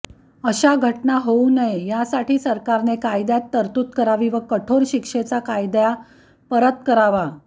अश्या घटना होऊ नये यासाठी सरकारने कायदेत तरतूद करावी व कठोर शिक्षेचा कायदा पारित करावा